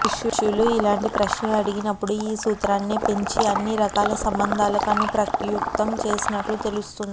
శిష్యులు ఇలాంటి ప్రశ్నలడిగినప్పుడు ఈ సూత్రాన్నే పెంచి అన్ని రకాల సంబంధాలకు అనుప్రయుక్తం చేసినట్లు తెలుస్తుంది